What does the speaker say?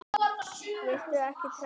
Viltu ekki trekkja?